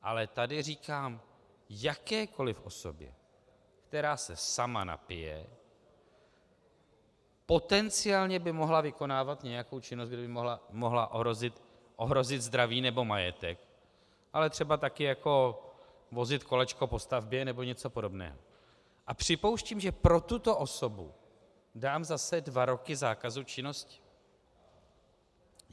Ale tady říkám jakékoliv osobě, která se sama napije, potenciálně by mohla vykonávat nějakou činnost, kde by mohla ohrozit zdraví nebo majetek, ale třeba taky jako vozit kolečko po stavbě nebo něco podobného, a připouštím, že pro tuto osobu dám zase dva roky zákazu činnosti.